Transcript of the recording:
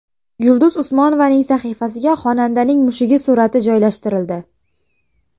Yulduz Usmonovaning sahifasiga xonandaning mushugi surati joylashtirildi.